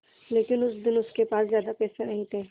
लेकिन उस दिन उसके पास ज्यादा पैसे नहीं थे